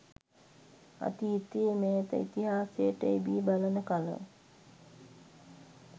අතීතයේ මෑත ඉතිහාසයට එබී බලන කල